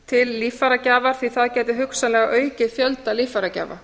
til líffæragjafar því það gæti hugsanlega aukið fjölda líffæragjafa